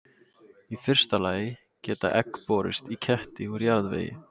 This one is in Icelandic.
í fyrsta lagi geta egg borist í ketti úr jarðvegi